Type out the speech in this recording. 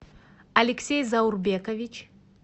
алексей заурбекович